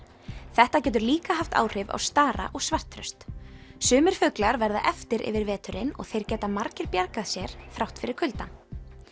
þetta getur líka haft áhrif á stara og sumir fuglar verða eftir yfir veturinn og þeir geta margir bjargað sér þrátt fyrir kuldann